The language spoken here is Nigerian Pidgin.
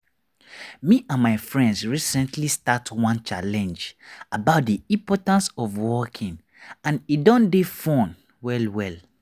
me and my friends recently start one challenge about the importance of walking and e don dey fun well well.